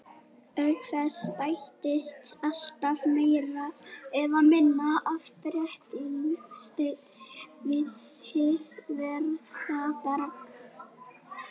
Auk þess bætist alltaf meira eða minna af brennisteini við hið veðraða berg.